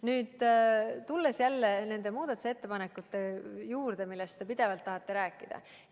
Nüüd, tulen jälle nende muudatusettepanekute juurde, millest te pidevalt tahate rääkida.